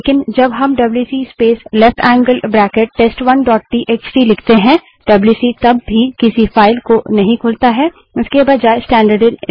लेकिन जब हम W C space left angle bracket space test one dot T X T W C space left angled bracket test one T X T लिखते हैं डब्ल्यूसी तब भी किसी फाइल को नहीं खोलता है